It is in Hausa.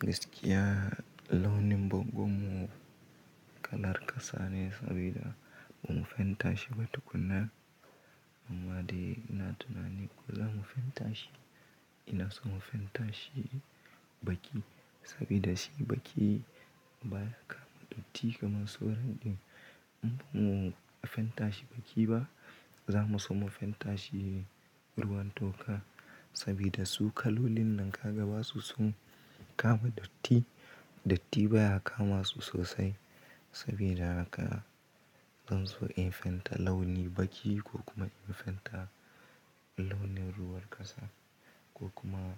Gaskiya launi bango mu kalar kasane sabida bamu fenta shi ba tukuna. Amma dai ina tunanin ko zamu fenta shi, ina son mu fenta shi baki sabida shi baki baya kama datti kamar sauran ɗin. In bamu fenta shi baki ba, za mu so mu fenta shi ruwan toka sabida su kalolin nan gaba su sun kama datti. Datti baya kama su sosai sabida haka zan so in fenta launi baki ko kuma in fenta launi ruwan ƙasa ko kuma